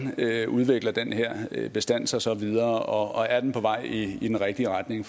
udvikler den her bestand sig så videre og er den på vej i den rigtige retning